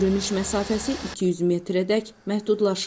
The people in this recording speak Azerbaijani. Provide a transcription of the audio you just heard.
Görünüş məsafəsi 200 metrədək məhdudlaşır.